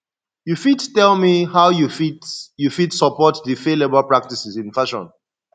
you fit tell me how you fit you fit support di fair labor practices in fashion